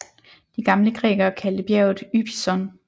De gamle grækere kaldte bjerget Ypison